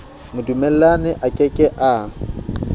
modumellani a ke ke a